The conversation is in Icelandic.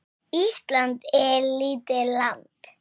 Ísland er lítið land.